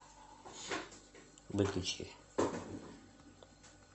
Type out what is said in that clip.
выключи